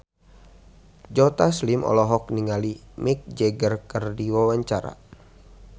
Joe Taslim olohok ningali Mick Jagger keur diwawancara